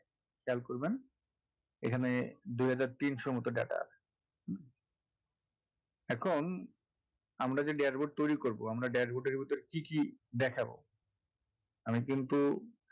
খেয়াল করবেন এখানে দুই হাজার তিনশো মতো data আছে এখন আমরা যে dashboard তৈরি করবো আমরা dashboard এর ভিতরে কি কি দেখাবো আমি কিন্তু